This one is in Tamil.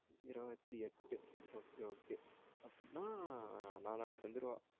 இருவத்தி எட்டு okay okay அப்டின நாளானைக்கு வந்துருவா